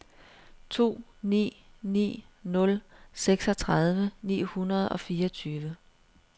to ni ni nul seksogtredive ni hundrede og fireogtyve